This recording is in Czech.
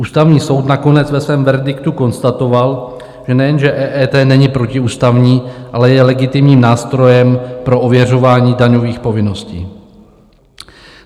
Ústavní soud nakonec ve svém verdiktu konstatoval, že nejenže EET není protiústavní, ale je legitimním nástrojem pro ověřování daňových povinností.